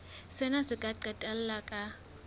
sena se ka qetella ka